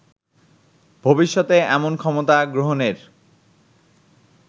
ভবিষ্যতে এমন ক্ষমতা গ্রহণের